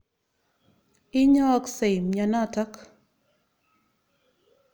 Inyooksei mianotok.